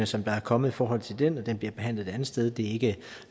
som der er kommet i forhold til den og den bliver behandlet et andet sted det er ikke